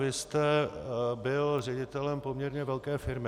Vy jste byl ředitelem poměrně velké firmy.